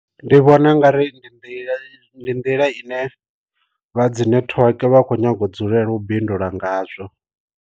Ndi vhona u nga ri ndi nḓila ndi nḓila ine vha dzi network vha kho nyaga u dzulela u bindula ngazwo.